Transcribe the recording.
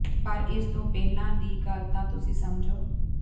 ਪਰ ਇਸ ਤੋਂ ਪਹਿਲਾਂ ਦੀ ਗੱਲ ਤਾਂ ਤੁਸੀਂ ਸਮਝੋ